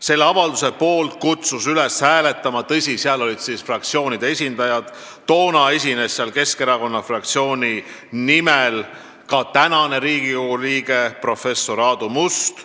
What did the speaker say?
Selle avalduse poolt kutsus üles hääletama – tõsi, seda tegid muudegi fraktsioonide esindajad – Keskerakonna fraktsiooni nimel kõnelenud praegunegi Riigikogu liige professor Aadu Must.